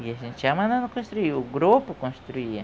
E a gente ia mandando construir, o grupo construía.